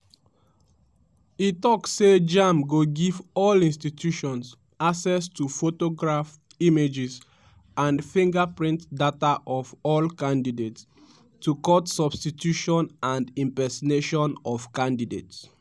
e tok say jamb go give all institutions access to photograph images and fingerprints data of all candidates to cut substitution and impersonation of candidates.